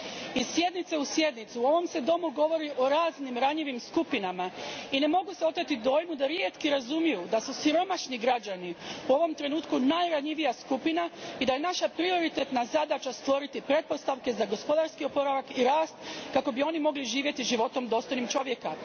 Iz sjednice u sjednicu u ovom se domu govori o raznim ranjivim skupinama i ne mogu se oteti dojmu da rijetki razumiju da su siromašni građani u ovom trenutku najranjivija skupina i da je naša prioritetna zadaća stvoriti pretpostavke za gospodarski oporavak i rast kako bi oni mogli živjeti životom dostojnim čovjeka.